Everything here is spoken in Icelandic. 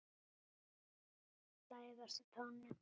Læðast á tánum.